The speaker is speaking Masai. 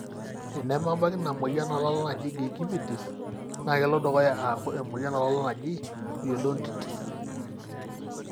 tenemebaki ina moyian olala naji gingivitis na kelo dukuya aku emoyian olala naaji "periodontitis"